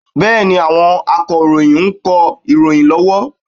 Bẹ́ẹ̀ni, àwọn Akọ̀ròyìn ń kọ ìròyìn lọ́wọ́